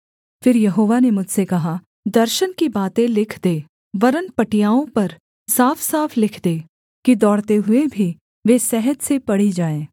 फिर यहोवा ने मुझसे कहा दर्शन की बातें लिख दे वरन् पटियाओं पर साफसाफ लिख दे कि दौड़ते हुए भी वे सहज से पढ़ी जाएँ